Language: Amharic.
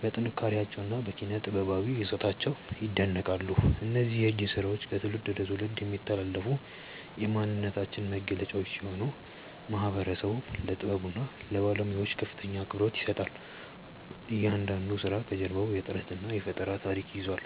በጥንካሬያቸውና በኪነ-ጥበባዊ ይዘታቸው ይደነቃሉ። እነዚህ የእጅ ስራዎች ከትውልድ ወደ ትውልድ የሚተላለፉ የማንነታችን መገለጫዎች ሲሆኑ፣ ማህበረሰቡም ለጥበቡና ለባለሙያዎቹ ከፍተኛ አክብሮት ይሰጣል። እያንዳንዱ ስራ ከጀርባው የጥረትና የፈጠራ ታሪክ ይዟል።